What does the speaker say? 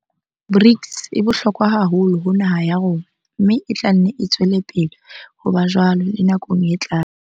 BRICS e bohlokwa haholo ho naha ya rona, mme e tla nne e tswele pele ho ba jwalo le nakong e tlang.